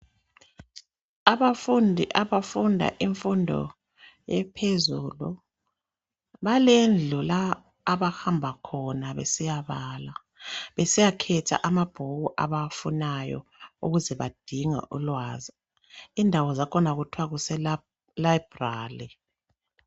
Abafundi abafunda imfundo ephezulu, balendlu la abahamba khona besiya bala, besiyakhetha amabhuku abawafunayo ukuze badinge ulwazi. Indawo zakhona kuthwa kuse library.